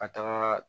Ka taga